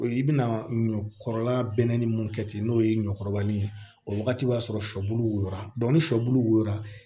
O ye i bɛna ɲɔ kɔrɔla bɛnnen mun kɛ ten n'o ye ɲɔkɔkɔrɔbali ye o wagati b'a sɔrɔ sɔbulu wo a ni sɔbulu wora